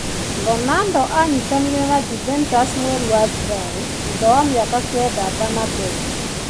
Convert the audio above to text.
Ronaldo aanyitanire na Juventus mweri wa Julai thutha wa mĩaka kenda Bernabeu.